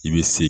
I bɛ se